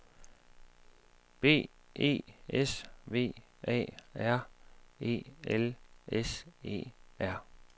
B E S V A R E L S E R